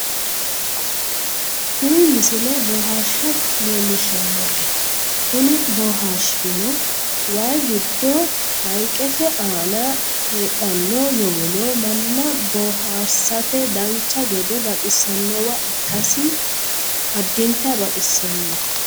tini misile bohaarsha leellishshannote kuni bohaarshuno waye giddo hayiiqete aana hadhanno yowolo manna bohaarsate dancha gede baxisannowa ikkasi addinta baxisannoho